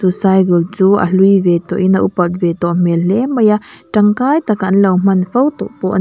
chu cygul chu a hlui ve tawh in a upat ve tawh hle mai a tangkai taka an lo hman fo tawh pawh ani --